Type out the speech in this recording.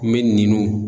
N bɛ nu